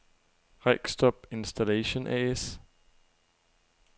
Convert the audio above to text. Regstrup Installation A/S